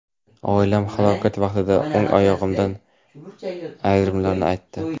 Oilam halokat vaqtida o‘ng oyog‘imdan ayrilganimni aytdi.